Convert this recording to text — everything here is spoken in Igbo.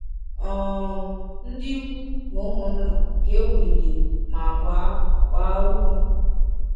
um Ndị ikwu na ụmụnna ka ewulitere ma gbaa gbaa ume.